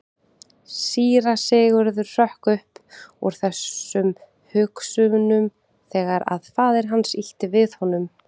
Síra Sigurður hrökk upp úr þessum hugsunum þegar að faðir hans ýtti við honum.